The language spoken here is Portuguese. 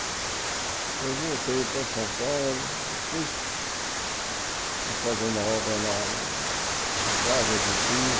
Depois voltei para São Paulo, depois fui fazer uma obra lá na na estrada de Itu.